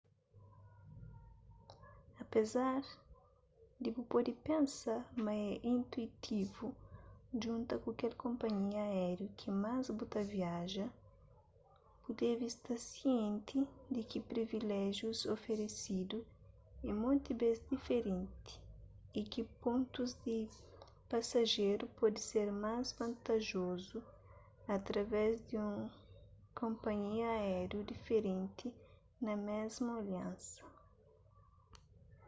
apésar di bu pode pensa ma é intuitivu djunta ku kel konpanhia aériu ki más bu ta viaja bu debe sta sienti di ki priviléjius oferesidu é monti bês diferenti y ki pontus di pasajeru pode ser más vantajozu através di un konpanhia aériu diferenti na mésmu aliansa